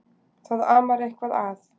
Það amar eitthvað að.